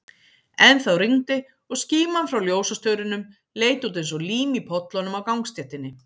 Ennþá rigndi, og skíman frá ljósastaurunum leit út eins og lím í pollunum á gangstéttinni.